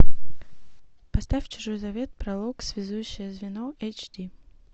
поставь чужой завет пролог связующее звено эйч ди